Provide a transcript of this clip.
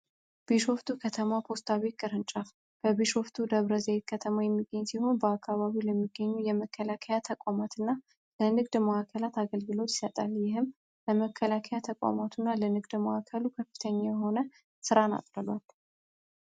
ቢሾፍቱ ከተማ ፖስታ ቤት ቅርንጫፍ በብሾፍቱ ደብረዘይት ከተማ የሚገኝ ሲሆን በአካባቢ ለሚገኙ የመከላከያ ተቋማትና የንግድ መዋዕከላት አገልግሎት ይሰጣል ይህም ተቋማትና ለንግድ ከፍተኛ የሆነ ራ